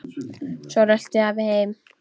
Svo rölti afi heim.